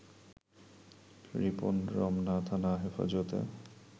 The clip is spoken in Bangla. রিপন রমনা থানা হেফাজতে